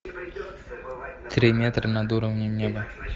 три метра над уровнем неба